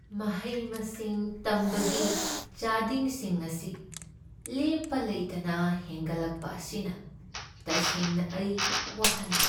ꯃꯍꯩ ꯃꯁꯤꯡ ꯇꯝꯕꯒꯤ ꯆꯥꯗꯤꯡꯁꯤꯡ ꯑꯁꯤ ꯂꯦꯞꯄ ꯂꯩꯇꯅ ꯍꯦꯟꯒꯠꯂꯛꯄ ꯑꯁꯤꯅ ꯇꯁꯦꯡꯅ ꯑꯩ ꯋꯥꯍꯜꯂꯤ ꯫